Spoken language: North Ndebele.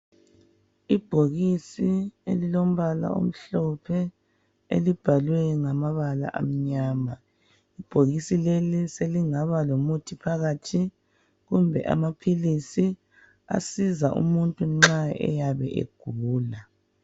Ibhokisi elilombala omhlophe elibhalwe ngamabala amnyama. Ibhokisi leli selingaba lomuthi phakathi kumbe amaphilisi asiza umuntu nxa eyabe egula.